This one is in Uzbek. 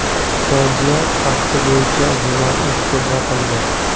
Fojia fakti bo‘yicha jinoiy ish qo‘zg‘atildi.